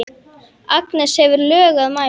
Agnes hefur lög að mæla.